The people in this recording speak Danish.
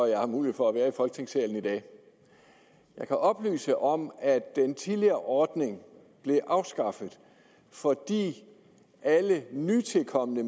jeg har mulighed for at være i folketingssalen i dag jeg kan oplyse om at den tidligere ordning blev afskaffet fordi alle nytilkomne i